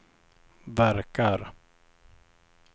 verkar